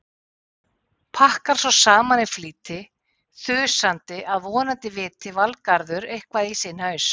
Pakkar svo saman í flýti, þusandi að vonandi viti Valgarður eitthvað í sinn haus.